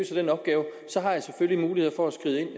den opgave